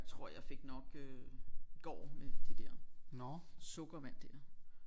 Tror jeg fik nok øh i går med de der sukkervand der